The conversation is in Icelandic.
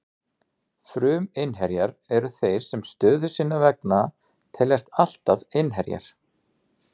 Fruminnherjar eru þeir sem stöðu sinnar vegna teljast alltaf innherjar.